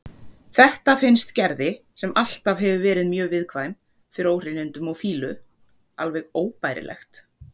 Þetta finnst Gerði, sem alltaf hefur verið mjög viðkvæm fyrir óhreinindum og fýlu, alveg óbærilegt.